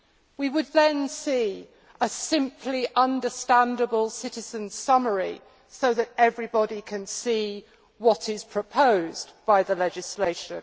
We would then see a simple understandable citizens' summary so that everybody can see what is proposed by the legislation.